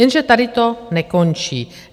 Jenže tady to nekončí.